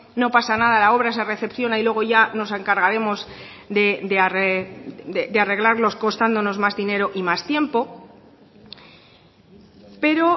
no pasa nada la obra se recepciona y luego ya nos encargaremos de arreglarlos constando más dinero y más tiempo pero